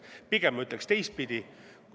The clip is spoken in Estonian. Pigem ma ütleksin veel teistpidi.